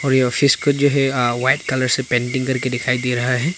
और यह ऑफिस को जो है आ व्हाइट कलर से पेंटिंग करके दिखाई दे रहा है।